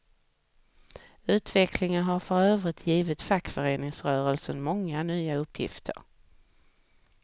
Utvecklingen har för övrigt givit fackföreningsrörelsen många nya uppgifter.